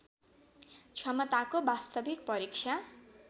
क्षमताको वास्तविक परीक्षा